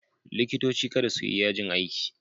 Likitoci kada su yi yajin aiki!